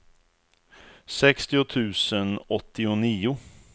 sextio tusen åttionio